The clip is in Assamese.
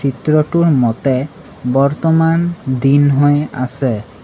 মতে বৰ্তমান দিন হৈ আছে।